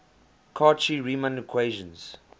cauchy riemann equations